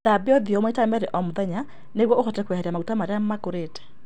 Thambia ũthiũ maita merĩ o mũthenya nĩguo ũhote kweheria maguta marĩa makũrĩte.